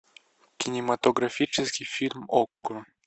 кинематографический фильм окко